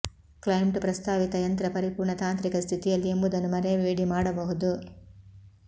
client ಪ್ರಸ್ತಾವಿತ ಯಂತ್ರ ಪರಿಪೂರ್ಣ ತಾಂತ್ರಿಕ ಸ್ಥಿತಿಯಲ್ಲಿ ಎಂಬುದನ್ನು ಮರೆಯಬೇಡಿ ಮಾಡಬಹುದು